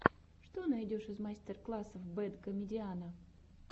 что найдешь из мастер классов бэд комедиана